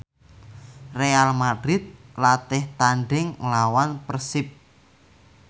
Real madrid latih tandhing nglawan Persib